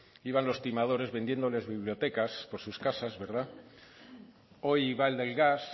iban los timadores vendiéndoles bibliotecas por sus casas hoy va el del gas